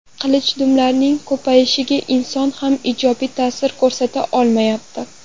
Qilichdumlarning ko‘payishiga inson ham ijobiy ta’sir ko‘rsata olmayapti.